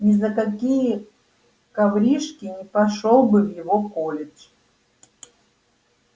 ни за какие коврижки не пошёл бы в его колледж